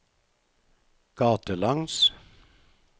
gatelangs